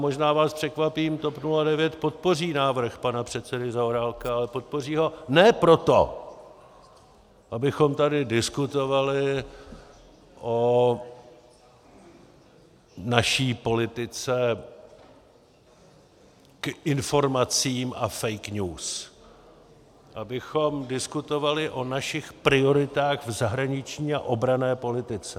Možná vás překvapím, TOP 09 podpoří návrh pana předsedy Zaorálka, ale podpoří ho ne proto, abychom tady diskutovali o naší politice k informacím a fake news, abychom diskutovali o našich prioritách v zahraniční a obranné politice.